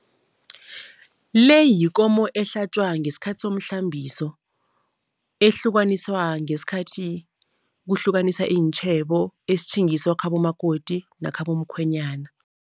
Le yikomo ehlatjwa ngesikhathi somhlambiso, ehlukaniswa ngesikhathi kuhlukaniswa iintjhebo, esitjhingiswa khabo makoti nakhabomkhwenyana.